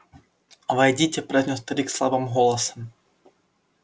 войдите произнёс старик слабым голосом